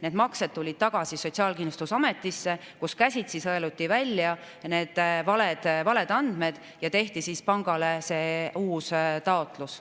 Need maksed tulid tagasi Sotsiaalkindlustusametisse, kus käsitsi sõeluti välja need valed andmed ja tehti pangale uus taotlus.